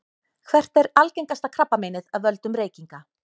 hvert er algengasta krabbameinið af völdum reykinga